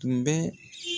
Tun bɛ